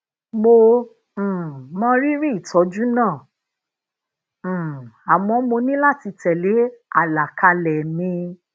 mo um mọ rírì itoju naa um àmó mo ní láti tele alakale mi